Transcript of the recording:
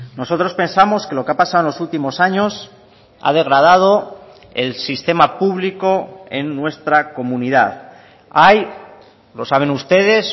nosotros pensamos que lo que ha pasado en los últimos años ha degradado el sistema público en nuestra comunidad hay lo saben ustedes